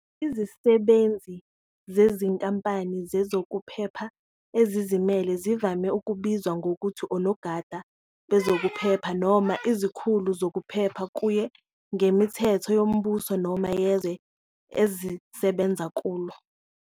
Izisebenzi zezinkampani zezokuphepha ezizimele zivame ukubizwa ngokuthi "onogada bezokuphepha" noma "izikhulu zokuphepha", kuye ngemithetho yombuso noma yezwe ezisebenza kulo.